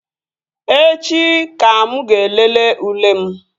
Echi ka mụ ga-elele ule m